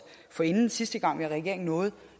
forinden sidste gang vi var i regering nåede